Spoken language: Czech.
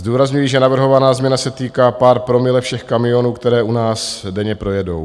Zdůrazňuji, že navrhovaná změna se týká pár promile všech kamionů, které u nás denně projedou.